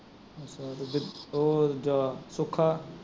ਉਹ ਦੁੱਜਾ ਸੁੱਖਾ